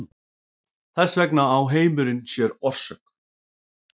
Þess vegna á heimurinn sér orsök.